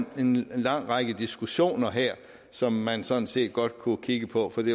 en lang række diskussioner her som man sådan set godt kunne kigge på for det